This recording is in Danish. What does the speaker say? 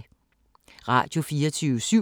Radio24syv